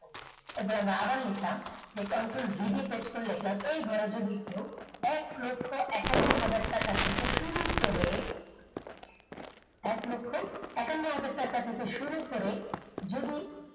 এবার আমরা আবার লিখলাম control v দিয়ে pest করে লিখলাম এই ঘরে যদি কেউ এক লক্ষ একান্ন হাজার টাকা থেকে শুরু করে এক লক্ষ একান্ন হাজার টাকা থেকে শুরু করে যদি